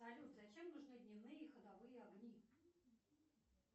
салют зачем нужны дневные ходовые огни